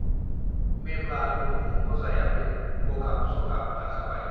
मेब्ला गुरहं अजायाबो गगाब सगाब नाजाबाय